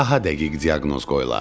Daha dəqiq diaqnoz qoyular.